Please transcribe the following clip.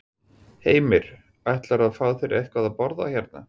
Heimir: Ætlarðu að fá þér eitthvað að borða hérna?